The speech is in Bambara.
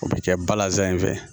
O bɛ kɛ balazan in fɛ